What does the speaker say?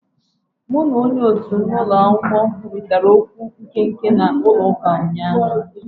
Mụ na onye òtù m na ulo akwukwo kwurịtara okwu nkenke na chọọchị ụnyaahụ